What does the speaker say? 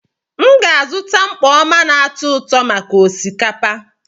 M ga-azụta mkpọ oma na atu-uto maka osikapa.